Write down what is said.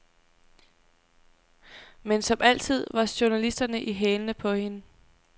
Men som altid var journalisterne i hælene på hende.